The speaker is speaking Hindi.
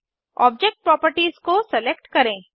ऑब्जेक्ट प्रॉपर्टीज को सेलेक्ट करें